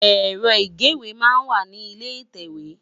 Èrò igéwé má n wá ni ilé itèwé